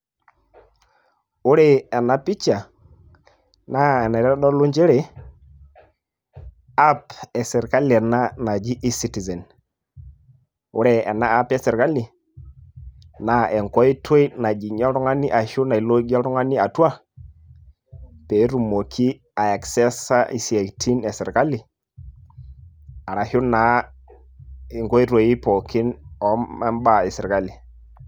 ore ena picha, naa enaitodolu nchere, app e sirkali ena naji e citizen, ore ena app e sirkali, naa enkoitoi najing'ie oltungani atua, pee etumoki aecessesa isiatin e sirkali arashu naa inkoitoi pookin obaa esirkali.